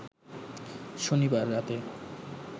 শনিবার রাতে